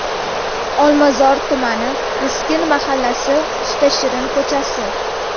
Olmazor tumani: Miskin mahallasi, Usta Shirin ko‘chasi.